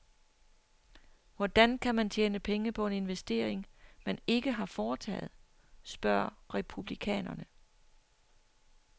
Hvordan kan man tjene penge på en investering, man ikke har foretaget, spørger republikanerne?